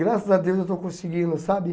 Graças a Deus eu estou conseguindo, sabe?